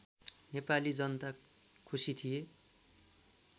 नेपाली जनता खुसी थिए